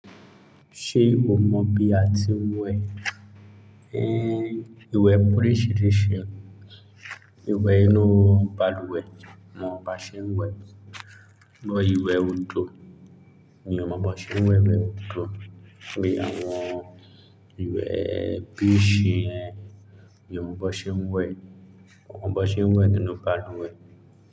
Ṣé o mọ̀ bí a ti ń wẹ ìwẹ̀ oríṣiríṣi? Ìwẹ̀ inú balùwẹ̀, mo mọ̀ bó ṣe ń wẹ̀. Bó ìwẹ̀ odò ni mo mọ̀ bó ṣe ń wẹ̀ odò. Bí àwọn ìwẹ̀ bí shi yen, mi ò mọ̀ bó ṣe ń wẹ̀. Mo kò mọ̀ bó ṣe ń wẹ̀ nínú balùwẹ̀